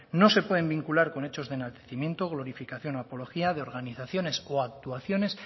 no se pueden vincular con hechos de enaltecimiento glorificación o apología de organizaciones o actuaciones